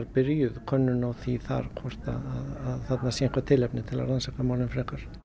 byrjuð könnun á því hvort að þarna sé eitthvað tilefni til að rannsaka málin frekar